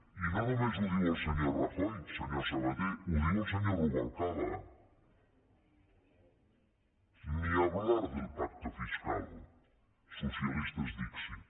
i no només ho diu el senyor rajoy senyor sabaté ho diu el senyor rubalcaba ni hablar del pacto fiscal socialistes dixit